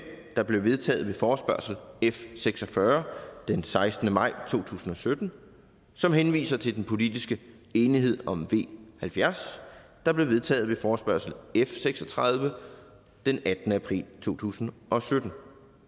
der blev vedtaget ved forespørgsel f seks og fyrre den sekstende maj to tusind og sytten som henviser til den politiske enighed om v halvfjerds der blev vedtaget ved forespørgsel f seks og tredive den attende april to tusind og sytten